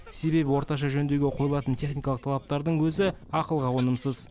себебі орташа жөндеуге қойылатын техникалық талаптардың өзі ақылға қонымсыз